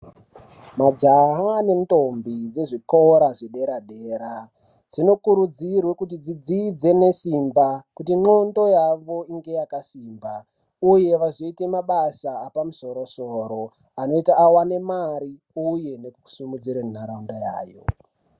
Majaha nendombi dzezvikora zvedera dera dzinokurudzirwa dzidzidze nesimba kuti ngondlo yavo inge yakasimba uye vazoita mabasa epamusoro soro vazoita vawane mare uye nekusimudzira nharaunda yayo